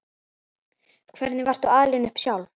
Hvernig varstu alin upp sjálf?